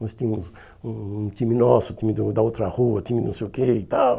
Nós tínhamos um um time nosso, time do da outra rua, time não sei o que e tal.